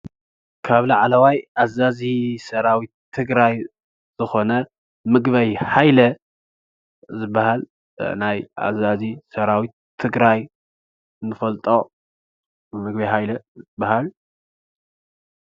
ካብ ላዕለዋይ ኣዘዚ ሰራዊት ትግራይ ዝኮነ ምግበይ ሃይለ ዝባሃል ናይ ኣዛዚ ሰራዊት ትግራይ ንፈልጦ ምግበይ ሃይለ ይባሃል።